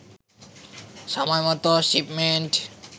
সময়মতো শিপমেন্ট